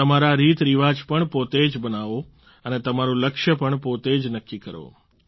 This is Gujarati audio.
તમારા રીતરિવાજ પણ પોતે જ બનાવો અને તમારું લક્ષ્ય પણ પોતે જ નક્કી કરો